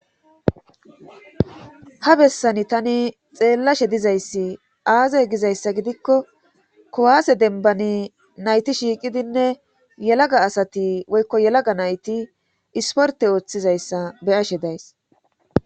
Ha bessani tani xeellashe dizayssi aaze gizayssa gidikko kuwaase denbani nayti shiiqidinne yelaga asati woykko yelaga nayti isporte ooththizayssa be7ashe days.